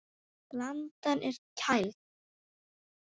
Blandan er kæld.